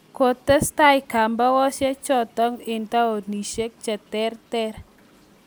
kotestai kambakoshek chotok eng taonishiek che terter